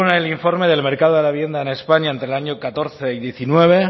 el informe del mercado de la vivienda en españa entre el año catorce y diecinueve